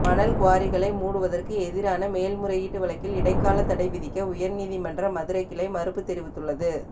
மணல் குவாரிகளை மூடுவதற்கு எதிரான மேல்முறையீட்டு வழக்கில் இடைக்கால தடைவிதிக்க உயர்நீதிமன்ற மதுரைக்கிளை மறுப்பு தெரிவித்துள்ளது